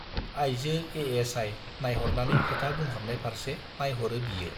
आइजो एएसआइ नाइहरनानै खोथा बुंहरनाय फार्से नाइहरो बियो।